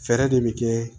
Fɛɛrɛ de bɛ kɛ